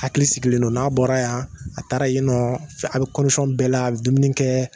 Hakili sigilen don n'a bɔra yan a taara yen nɔ a bɛ bɛɛ la a bɛ dumuni kɛ